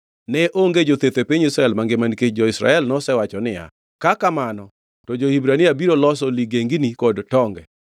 Ne onge jotheth e piny Israel mangima nikech jo-Filistia nosewacho niya, “Ka kamano to jo-Hibrania biro loso ligengini kod tonge!”